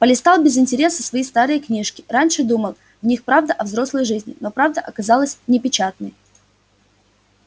полистал без интереса свои старые книжки раньше думал в них правда о взрослой жизни но правда оказалась непечатной